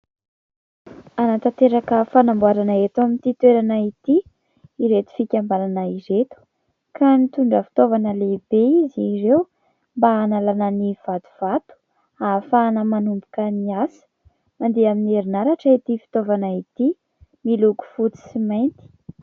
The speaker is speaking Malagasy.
Hanatanteraka fanamboarana eto amin'ity toerana ity ireto fikambanana ireto ka nitondra fitaovana lehibe izy ireo mba hanalanna ny vatovato ahafahana manomboka ny asa. Mandeha amin'ny herinaratra ity fitaovana ity, miloko fotsy sy mainty.